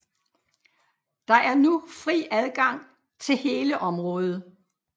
Der er nu fri adgang til hele området